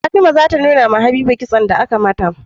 Fatima zata nunawa habiba kitson da aka mata